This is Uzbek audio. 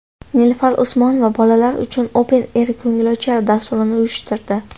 Nilufar Usmonova bolalar uchun Open Air ko‘ngilochar dasturini uyushtirdi .